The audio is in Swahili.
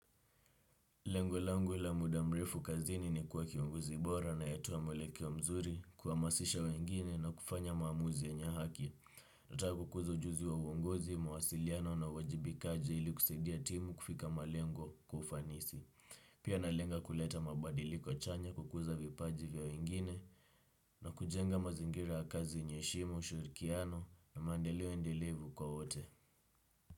Lengo langu la muda mrefu kazini ni kuwa kiongozi bora anayetoa mwelekeo mzuri kuhamasisha wengine na kufanya maamuzi yenye haki. Nataka kukuza ujuzi wa uongozi, mawasiliano na uwajibika aje ili kusaidia timu kufika malengo kwa ufanisi. Pia nalenga kuleta mabadiliko chanya kukuza vipaji vya wengine na kujenga mazingira ya kazi yenye heshima, ushirikiano na maendeleo endelevu kwa wote.